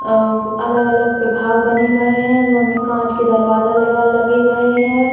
अ अगल-अगल विभाग बने भए हैं उनमे काँच के दरवाजा लगल लगे भए हैं।